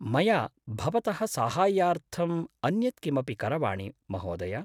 मया भवतः साहाय्यार्थम् अन्यत् किमपि करवाणि महोदय?